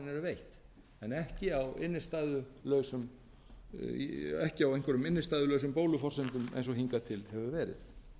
áður en lánin eru veitt en ekki á einhverjum innstæðulausum bóluforsendum eins og hingað til hefur verið